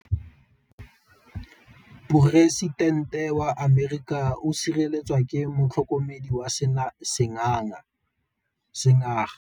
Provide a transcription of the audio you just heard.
Poresitêntê wa Amerika o sireletswa ke motlhokomedi wa sengaga.